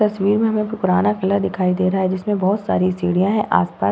तस्वीर में हमे एक पुराना क़िला दिखाई दे रहा है जिसमे बहोत सारी सीढ़ियां है आस-पास --